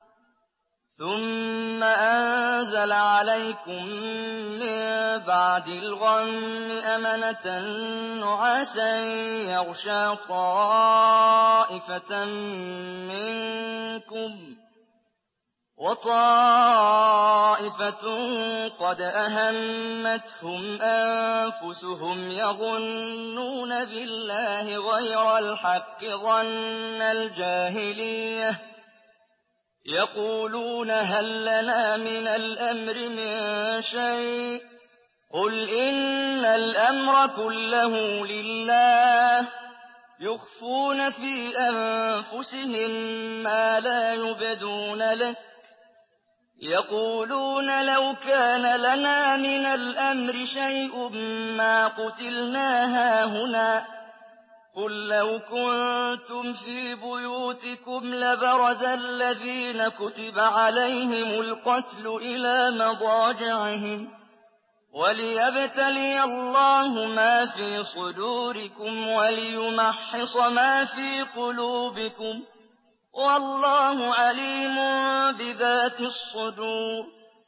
ثُمَّ أَنزَلَ عَلَيْكُم مِّن بَعْدِ الْغَمِّ أَمَنَةً نُّعَاسًا يَغْشَىٰ طَائِفَةً مِّنكُمْ ۖ وَطَائِفَةٌ قَدْ أَهَمَّتْهُمْ أَنفُسُهُمْ يَظُنُّونَ بِاللَّهِ غَيْرَ الْحَقِّ ظَنَّ الْجَاهِلِيَّةِ ۖ يَقُولُونَ هَل لَّنَا مِنَ الْأَمْرِ مِن شَيْءٍ ۗ قُلْ إِنَّ الْأَمْرَ كُلَّهُ لِلَّهِ ۗ يُخْفُونَ فِي أَنفُسِهِم مَّا لَا يُبْدُونَ لَكَ ۖ يَقُولُونَ لَوْ كَانَ لَنَا مِنَ الْأَمْرِ شَيْءٌ مَّا قُتِلْنَا هَاهُنَا ۗ قُل لَّوْ كُنتُمْ فِي بُيُوتِكُمْ لَبَرَزَ الَّذِينَ كُتِبَ عَلَيْهِمُ الْقَتْلُ إِلَىٰ مَضَاجِعِهِمْ ۖ وَلِيَبْتَلِيَ اللَّهُ مَا فِي صُدُورِكُمْ وَلِيُمَحِّصَ مَا فِي قُلُوبِكُمْ ۗ وَاللَّهُ عَلِيمٌ بِذَاتِ الصُّدُورِ